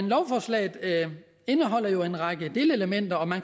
lovforslaget indeholder jo en række delelementer og man